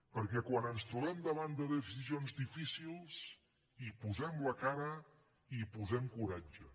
perquè quan ens trobem davant de decisions difícils hi posem la cara i hi posem coratge